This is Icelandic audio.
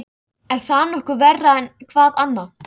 Er það nokkuð verra en hvað annað?